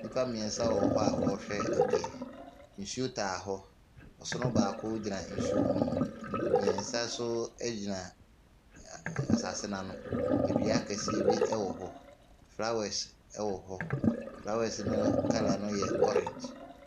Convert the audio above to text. Nnipa mmeɛnsa wɔ hɔ a wɔrehwɛ adeɛ. Nsuo taa hɔ. Ɔsono baako gyina nsuo no mu. Mmeɛnsa nso gyina ɛ a asase no ani. Dua kɛseɛ bi wɔ hɔ. Flowers wɔ hɔ. Flowers no colour no yɛ orange.